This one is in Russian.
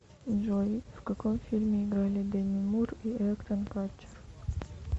джой в каком фильме играли деми мур и эктон катчер